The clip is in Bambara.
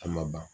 A ma ban